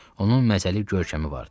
Onun məzəli görkəmi vardı.